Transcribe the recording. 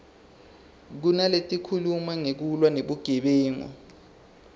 kunaletikhuluma ngekulwa nebugebengu